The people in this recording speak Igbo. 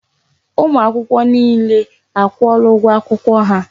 Ụmụ akwụkwọ niile a kwụọla ụgwọ akwụkwọ ha.